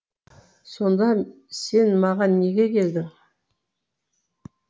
сонда сен маған неге келдің